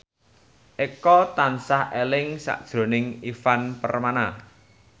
Eko tansah eling sakjroning Ivan Permana